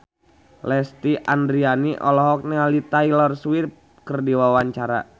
Lesti Andryani olohok ningali Taylor Swift keur diwawancara